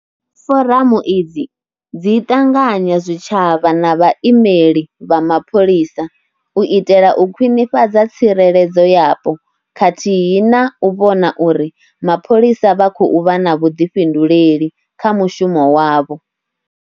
Foramu idzi dzi ṱanganya zwitshavha na vhaimeli vha mapholisa u itela u kwinifhadza tsireledzo yapo khathihi na u vhona uri mapholisa vha khou vha na vhuḓifhinduleli kha mushumo wavho.